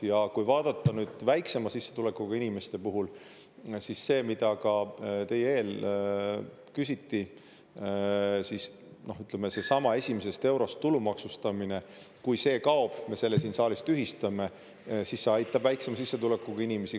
Ja kui vaadata nüüd väiksema sissetulekuga inimeste puhul, siis see, mida ka teie eel küsiti, siis ütleme, seesama esimesest eurost tulumaksustamine, kui see kaob, me selle siin saalis tühistame, siis see aitab väiksema sissetulekuga inimesi.